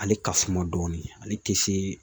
Ale ka suma dɔɔnin ale tɛ se